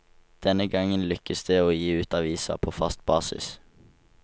Denne gang lykkes det å gi ut avisa på fast basis.